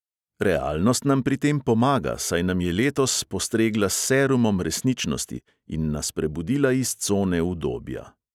Realnost nam pri tem pomaga, saj nam je letos postregla s "serumom resničnosti" in nas prebudila iz cone udobja.